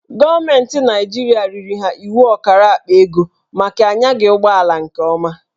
Gọọmentị Naijiria riri ha iwu ọkara akpa ego maka a nyaghị ụgbọala nke ọma.